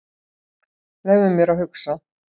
Leyfðu mér að hugsa.